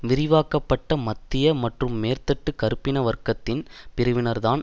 விரிவாக்க பட்ட மத்திய மற்றும் மேற்தட்டு கறுப்பின வர்க்கத்தின் பிரிவினர்தான்